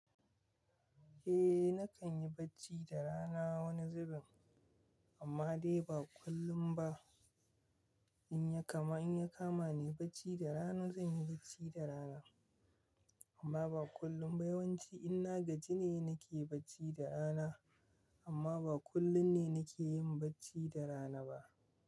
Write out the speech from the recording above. Eh nakan yi bacci da rana wani zubin amma dai ba kullum ba. In ya kama, in ya kama ni bacci da rana zan yi bacci da rana amma ba kullum ba. Yawanci inna gajine nake bacci da rana amma ba kullum ne nake yin bacci da rana ba.